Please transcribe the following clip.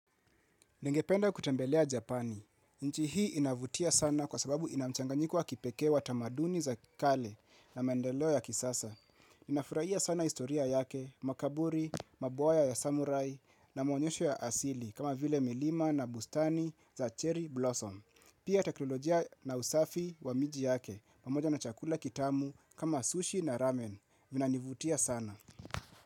Ningependa kutembelea Japani. Nchi hii inavutia sana kwa sababu ina mchanganyiko wa kipekee wa tamaduni za kale na maendeleo ya kisasa. Nafurahia sana historia yake, makaburi, mabwaya ya samurai na mwonyesho ya asili kama vile milima na bustani za cherry blossom. Pia teknolojia na usafi wa miji yake, pamoja na chakula kitamu kama sushi na ramen. Vinanivutia sana.